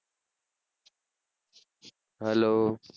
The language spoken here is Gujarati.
Hello